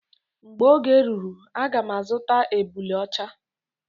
Mgbe oge ruru aga m azuta ebule ọcha.